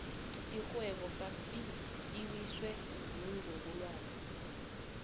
irhwebo kapiet iwiswe ziinzukulwana